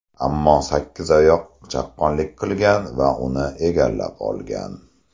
Ammo sakkizoyoq chaqqonlik qilgan va uni egallab olgan.